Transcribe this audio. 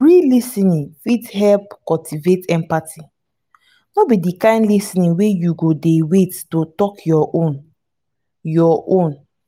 real lis ten ing fit help cultivate empathy no be di kind lis ten ing wey you go dey wait to talk your own your own